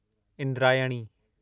Indrayani